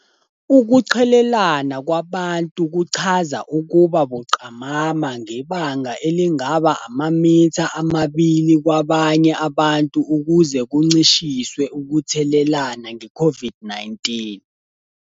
Ukuqhelelana kwabantu kuchaza ukuba buqamama ngebanga elingaba amamitha amabili kwabanye abantu ukuze kuncishiswe ukuthelelana ngeCOVID -19.